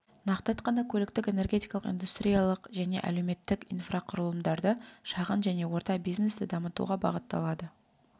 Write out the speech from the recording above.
нақты айтқанда көліктік энергетикалық индустриялық және әлеуметтік инфрақұрылымдарды шағын және орта бизнесті дамытуға бағытталады